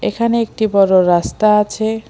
এখানে একটি বড়ো রাস্তা আছে।